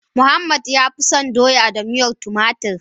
Muhammad ya fi so Doya da miyar tumatur.